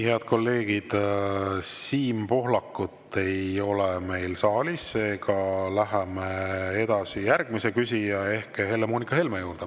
Head kolleegid, Siim Pohlakut ei ole meil saalis, seega läheme edasi järgmise küsija ehk Helle-Moonika Helme juurde.